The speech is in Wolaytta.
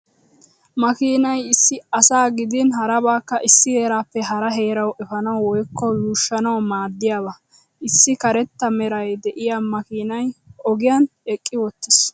Makiinay issi asaa gidin harabaakka issi heeraappe hara heerawu efanawu woykko yuushanawu maadiyaaba. Issi karetta meraa de'iyaa makiinay ogiyan eqqi wottiis.